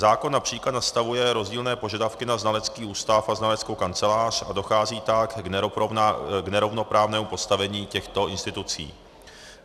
Zákon například nastavuje rozdílné požadavky na znalecký ústav a znaleckou kancelář, a dochází tak k nerovnoprávnému postavení těchto institucí.